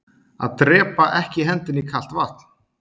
Að drepaa ekki hendinni í kalt vatn